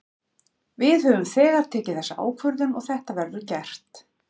Við höfum þegar tekið þessa ákvörðun og þetta verður gert.